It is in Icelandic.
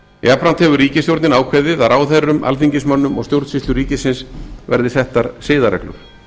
jafnframt hefur ríkisstjórnin ákveðið að ráðherrum alþingismönnum og stjórnsýslu ríkisins verði settar siðareglur